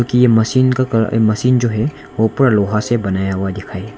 कि यह मशीन का कलर मशीन जो है ऊपर लोहा से बनाया हुआ दिखाए।